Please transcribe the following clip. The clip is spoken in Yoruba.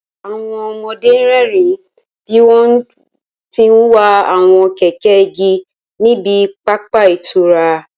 Àwọn ọmọdé ń rẹ́rìín bí wọ́n ti ń wa àwọn kẹ̀kẹ́ igi ní ibi pápá ìtura